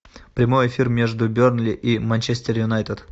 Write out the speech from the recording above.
прямой эфир между бернли и манчестер юнайтед